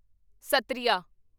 Sattriya